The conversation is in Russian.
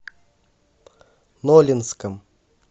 нолинском